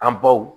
An baw